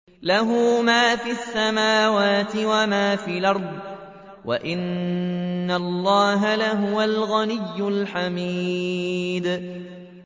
لَّهُ مَا فِي السَّمَاوَاتِ وَمَا فِي الْأَرْضِ ۗ وَإِنَّ اللَّهَ لَهُوَ الْغَنِيُّ الْحَمِيدُ